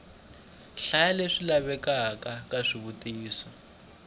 nhlayo leyi lavekaka ya swivutiso